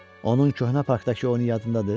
Onun köhnə parkdakı oyunu yadındadır?